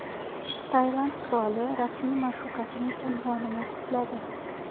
Tailand qiroli rasmiy ma’shuqasining unvonini tikladi.